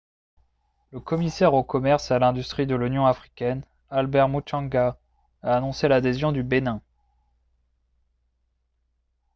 le commissaire au commerce et à l'industrie de l'union africaine albert muchanga a annoncé l'adhésion du bénin